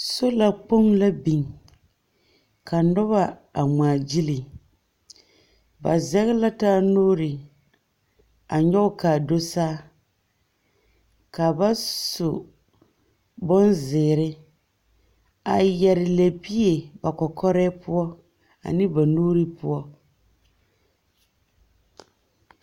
Sola kpoŋ la biŋ ka noba a ŋmaa gyili. Ba zɛge la taa nuuri a nyɔge ka do saa ka ba su bonzeere a yare lɛbie ba kɔkɔrɛɛ poɔ ane ba nuuri poɔ.